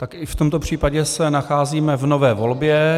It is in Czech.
Tak i v tomto případě se nacházíme v nové volbě.